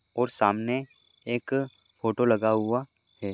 और सामने एक फोटो लगा हुआ है।